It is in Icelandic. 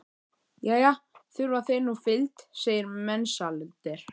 Jæja, þurfa þeir nú fylgd, segir Mensalder.